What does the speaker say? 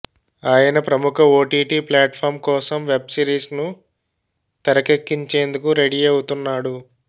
ఆయన ప్రముఖ OTT platform కోసం వెబ్ సిరీస్ ను తెరకెక్కించేందుకు రెడీ అవుతున్నాడు